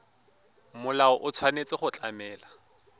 molao o tshwanetse go tlamela